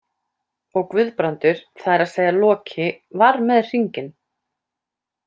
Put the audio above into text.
Og Guðbrandur, það er að segja Loki, var með hringinn.